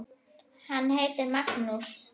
Hann heitir Magnús.